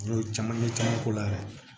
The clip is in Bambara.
N y'o caman ɲɛ caman k'o la yɛrɛ